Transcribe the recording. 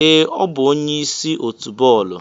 Ee, ọ bụ onye isi otu bọọlụ.